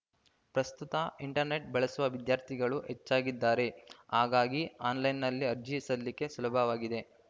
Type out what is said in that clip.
ಪ್ರಸ್ತುತ ಇಂಟರ್‌ನೆಟ್‌ ಬಳಸುವ ವಿದ್ಯಾರ್ಥಿಗಳು ಹೆಚ್ಚಾಗಿದ್ದಾರೆ ಹಾಗಾಗಿ ಆನ್‌ಲೈನ್‌ನಲ್ಲಿ ಅರ್ಜಿ ಸಲ್ಲಿಕೆ ಸುಲಭವಾಗಿದೆ